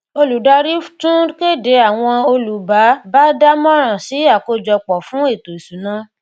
olùdarí tún kéde àwọn olú bá bá dá moran sì akojopo fún eto isuna